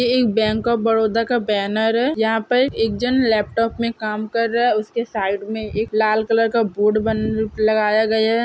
यह bank of Baroda का banner है यहां एक जन लेपटॉप में काम कर रहा है उसके साइड में लाल कलर का बोर्ड लगाया गया है ।